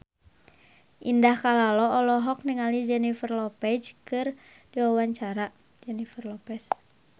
Indah Kalalo olohok ningali Jennifer Lopez keur diwawancara